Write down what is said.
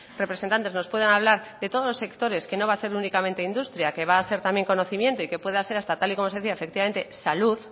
representantes nos puedan hablar de todos los sectores que no va a ser únicamente industria que va a ser también conocimiento y que pueda ser hasta tal y como se decía efectivamente salud